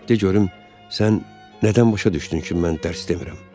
De görüm, sən nədən başa düşdün ki, mən dərs demirəm?